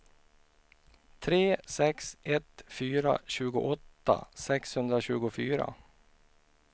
tre sex ett fyra tjugoåtta sexhundratjugofyra